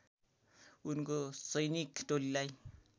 उनको सैनिक टोलीलाई